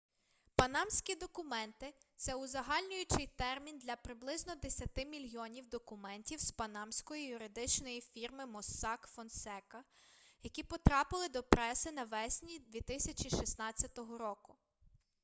панамські документи - це узагальнюючий термін для приблизно десяти мільйонів документів з панамської юридичної фірми моссак фонсека які потрапили до преси навесні 2016 року